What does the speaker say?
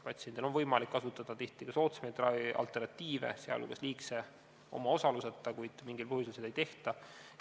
Patsiendil on võimalik kasutada tihti ka soodsamaid ravimialternatiive, sh liigse omaosaluseta, kuid mingil põhjusel seda ei tehta.